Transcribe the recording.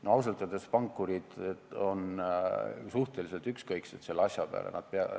No ausalt öeldes pankurid on suhteliselt ükskõiksed selle jutu peale.